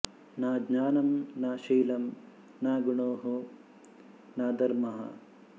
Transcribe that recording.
ನ ಜ್ಞಾನಂ ನ ಶೀಲಂ ನ ಗುಣೋ ನ ಧರ್ಮಃ